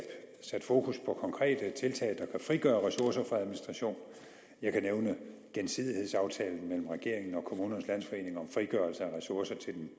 sat fokus på konkrete tiltag der frigøre ressourcer fra administration jeg kan nævne gensidighedsaftalen mellem regeringen og kommunernes landsforening om frigørelse af ressourcer til den